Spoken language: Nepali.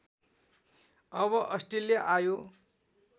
मब अस्ट्रेलिया आयो